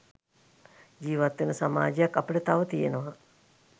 ජීවත් වෙන සමාජයක් අපිට තව තියෙනවා.